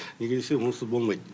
неге десе онсыз болмайт